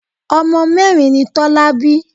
Ọmọ mẹ́rin ni Tọ́lá bí.